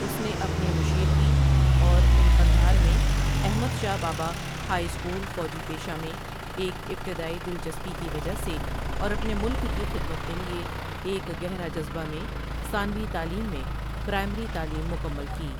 اس نے اپنے مشریکی اور ان قندھار میں احمد شاہ بابا ہائی اسکول فوجی پیشہ میں ایک ابتدائی دلچسپی کی وجہ سے اور اپنے ملک کی خدمت کے لیے ایک گہرا جذبہ میں ثانوی تعلیم میں پرائمری تعلیم مکمل کی ۔